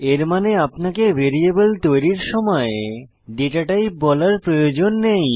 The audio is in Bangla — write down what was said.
এর মানে আপনাকে ভ্যারিয়েবল তৈরির সময় ডেটাটাইপ বলার প্রয়োজন নেই